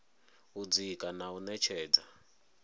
u dzika na u ṅetshedza